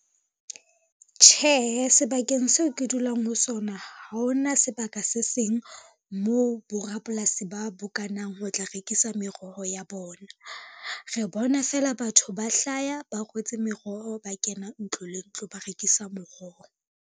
Tjhehe sebakeng seo ke dulang ho sona ha ona sebaka se seng moo borapolasi ba bokanang ho tla rekisa meroho ya bona. Re bona fela batho ba hlaya ba rwetse meroho, ba kena ntlo le ntlo ba rekisa meroho.